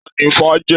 Taní ifá jẹ?